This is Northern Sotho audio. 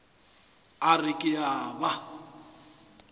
a re ke a ba